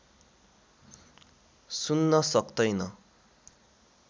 सुन्न सक्तैन